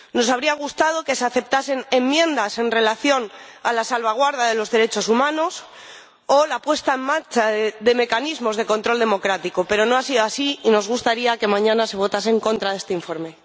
Nos habría gustado que se aceptasen enmiendas en relación con la salvaguarda de los derechos humanos o la puesta en marcha de mecanismos de control democrático, pero no ha sido así y nos gustaría que mañana se votase en contra de este informe.